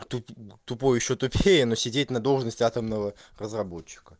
тупой ещё тупее но сидеть на должности атомного разработчика